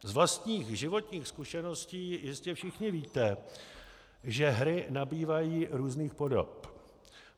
Z vlastních životních zkušeností jistě všichni víte, že hry nabývají různých podob.